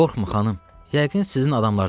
Qorxma, xanım, yəqin sizin adamlardandır.